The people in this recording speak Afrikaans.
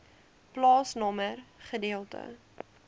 plaasnommer gedeelte